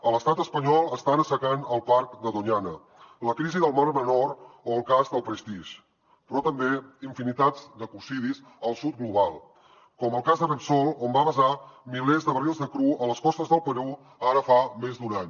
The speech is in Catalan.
a l’estat espanyol estan assecant el parc de doñana la crisi del mar menor o el cas del prestige però també infinitats d’ecocidis al sud global com el cas de repsol on va vessar milers de barrils de cru a les costes del perú ara fa més d’un any